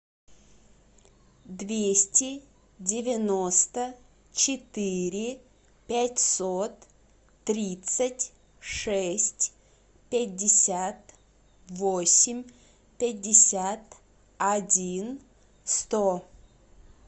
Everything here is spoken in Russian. двести девяносто четыре пятьсот тридцать шесть пятьдесят восемь пятьдесят один сто